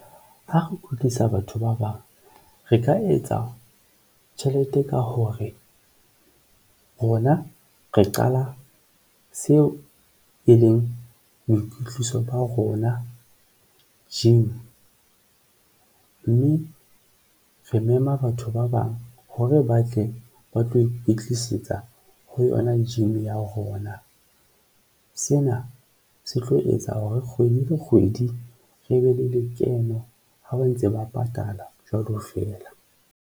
Ha re kwetlisa batho ba bang, re ka etsa tjhelete ka hore rona re qala seo e leng boikwetliso ba rona gym mme re mema batho ba bang hore ba tle ba tlo e tlisetsa ho yona gym ya rona, sena se tlo etsa hore kgwedi le kgwedi re be le lekeno ha ba ntse ba patala jwalo feela.